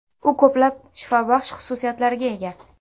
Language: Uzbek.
U ko‘plab shifobaxsh xususiyatlarga ega.